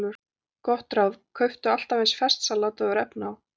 Gott ráð: Kauptu alltaf eins ferskt salat og þú hefur efni á.